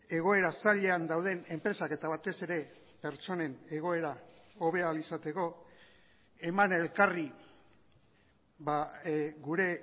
egoera zailean dauden enpresak eta batez ere pertsonen egoera hobe ahal izateko eman elkarri gure